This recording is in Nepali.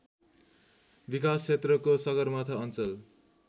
विकासक्षेत्रको सगरमाथा अञ्चल